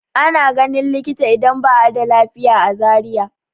Ana ganin likita idan ba a da lafiya a Zariya.